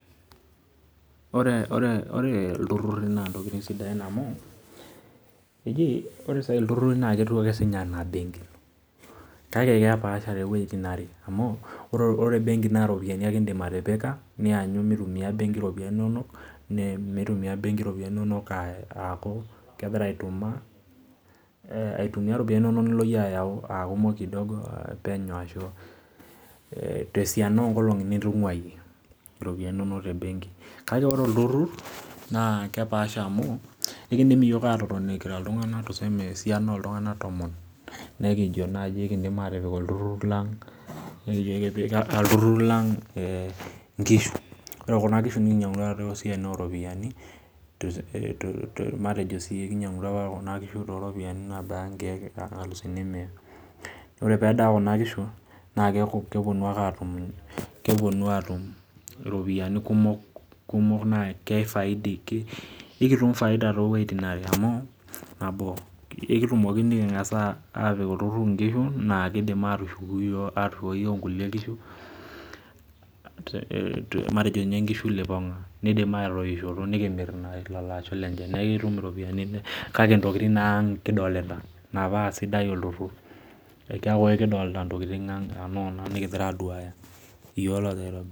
Ore ore ore ilturruri naa intokitin sidain amu eji ore saai ilturruri naa ketiu ake siinye anaabenki kake kepaasha tewueitin are amu ore benki naa iropiyiani ake indim atipika nianyu mitumia benki iropiani inonok ne metumia benki iropiani inonok uh aaku kegira aituma eh aitumia iropiani inonok nilo iyie ayau akumok kidogo penyo ashu eh tesian onkolong'i nitung'uayie iropiani inonok te benki kake ore olturrur naa kepaasha amu ekindim iyiok atotoni kira iltung'anak tuseme esiana oltung'anak tomon nekijio naaji ekindim atipik olturrur lang nekijo ekipik olturrur lang eh inkishu ore kuna kishu nikinyiang'utua tosiaitin oropiani te tos matejo kinyiang'utua apa kuna kishu toropiani naabaya inkeek inkalusuni mia ore pedaa kuna kishu naa keek keponu ake atum keponu aatum iropiyiani kumok kumok naa keifaidi ke ekitum faida towueitin are amu nabo ekitumoki niking'as uh apik olturrur inkishu naa kidim atushuku iyio atushukoki iyio inkulie kishu matejo inye inkishu lipong'a nidima atoishoto nikimirr ina lolo asho lenche neekitum iropiani kake intokitin naa nikidolita ina paa sidai olturrur keeku ekidolta intokitin ang anoona nikigira aduaya iyio logira.